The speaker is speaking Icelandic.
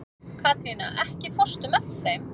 Katrína, ekki fórstu með þeim?